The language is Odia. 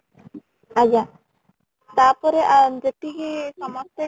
ଆଜ୍ଞ , ତା ପରେ ଆଁ ଯେତିକି ସମସ୍ତେ